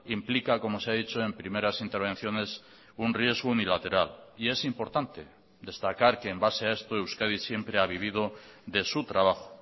implica como se ha dicho en primeras intervenciones un riesgo unilateral y es importante destacar que en base a esto euskadi siempre ha vivido de su trabajo